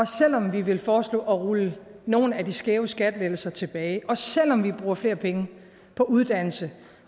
selv om vi vil foreslå at rulle nogle af de skæve skattelettelser tilbage og selv om vi bruger flere penge på uddannelse